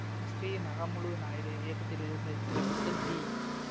M Sri Nagamulu Naidu இயக்கத்தில் வெளிவந்த இத்திரைப்படத்தில் டி